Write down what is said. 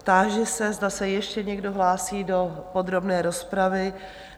Táži se, zda se ještě někdo hlásí do podrobné rozpravy?